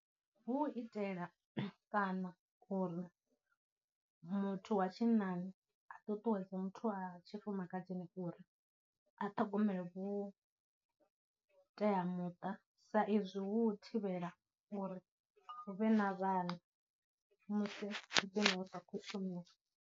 Hu u itela kana uri muthu wa tshinnani a ṱuṱuwedze muthu a tshifumakadzini uri a ṱhogomela vhuteamuṱa sa izwi hu u thivhela uri hu vhe na vhana musi .